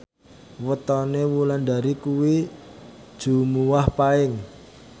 wetone Wulandari kuwi Jumuwah Paing